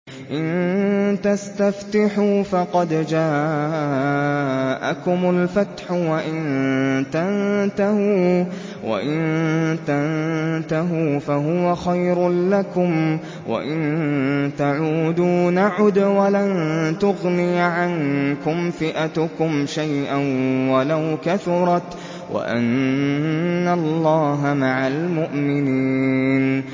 إِن تَسْتَفْتِحُوا فَقَدْ جَاءَكُمُ الْفَتْحُ ۖ وَإِن تَنتَهُوا فَهُوَ خَيْرٌ لَّكُمْ ۖ وَإِن تَعُودُوا نَعُدْ وَلَن تُغْنِيَ عَنكُمْ فِئَتُكُمْ شَيْئًا وَلَوْ كَثُرَتْ وَأَنَّ اللَّهَ مَعَ الْمُؤْمِنِينَ